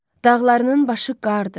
Dağlarının başı qardır.